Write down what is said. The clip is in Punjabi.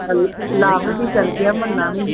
ਲਾਭ ਵੀ ਚੱਲ ਗਿਆ ਮੰਨਾ ਵੀ